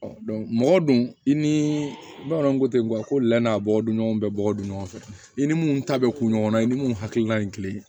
mɔgɔ dun i ni bamananw ko ten nka ko lɛ n'a bɔgɔɲɔgɔnw bɛɛ bɔgɔ don ɲɔgɔn fɛ i ni minnu ta bɛ ku ɲɔgɔn na i ni minnu hakililan ye kile ye